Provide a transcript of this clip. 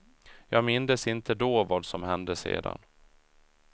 Jag mindes inte då vad som hände sedan.